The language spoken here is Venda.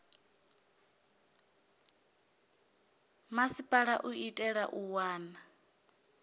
masipala u itela u wana